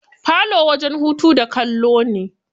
Falo wajen hutu da kallo ne.